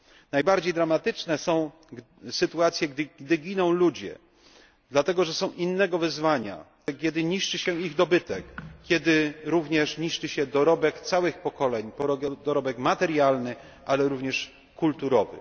Najbardziej dramatyczne są sytuacje, gdy giną ludzie, dlatego że są innego wyznania, kiedy niszczy się ich dobytek, kiedy również niszczy się dorobek całych pokoleń, dorobek materialny, ale również kulturowy.